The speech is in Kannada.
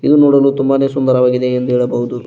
ಇದು ನೋಡಲು ತುಂಬಾನೇ ಸುಂದರವಾಗಿದೆ ಎಂದು ಹೇಳಬಹುದು.